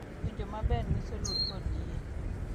Winjo maber nyiso luor kod yie,